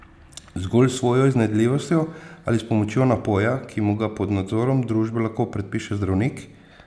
Zgolj s svojo iznajdljivostjo ali s pomočjo napoja, ki mu ga pod nadzorom družbe lahko predpiše zdravnik?